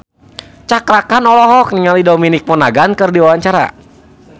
Cakra Khan olohok ningali Dominic Monaghan keur diwawancara